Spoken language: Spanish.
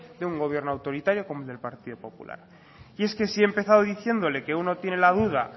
de un gobierno autoritario como el del partido popular y es que si he empezado diciéndole que uno tiene la duda